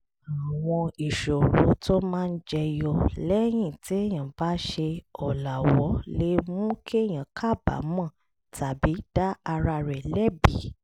àwọn ìṣòro tó máa jẹ yọ lẹ́yìn téèyàn bá ṣe ọ̀làwọ́ lè mú kéèyàn kábàámọ̀ tàbí dá ara rẹ̀ lẹ́bi